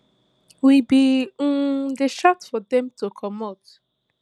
we bin um dey shout for dem to comot